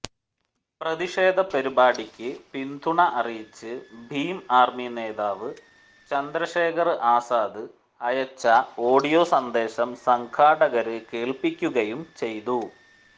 പ്രതിഷേധ പരിപാടിക്ക് പിന്തുണ അറിയിച്ച് ഭീം ആര്മി നേതാവ് ചന്ദ്രശേഖര് ആസാദ് അയച്ച ഒാഡിയോ സന്ദേശം സംഘാടകര് കേല്പ്പിക്കുകയും ചെയ്തു